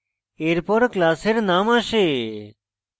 এরপর class এর name আসে